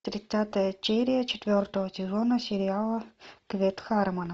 тридцатая серия четвертого сезона сериала квест хармона